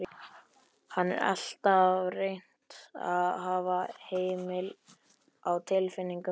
Hann hafði alltaf reynt að hafa hemil á tilfinningum sínum.